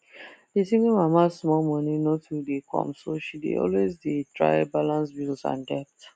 the single mama small money no too dey come so she dey always dey try balance bills and debt